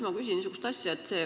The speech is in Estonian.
Ma küsin niisugust asja.